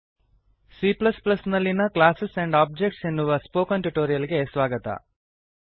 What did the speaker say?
C ನಲ್ಲಿಯ class and objects classes and objects ಎನ್ನುವ spoken tutorial ಗೆ ಸ್ವಾಗತ